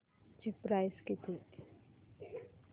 ची प्राइस किती